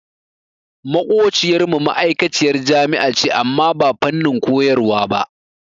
Maƙociyar mu ma'aikaciyar jami'a ce amma ba fannin koyarwa ba.